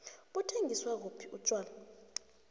buthengizwa kuphi utjhwala